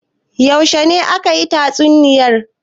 Yaushe ne aka yi tatsuniyar?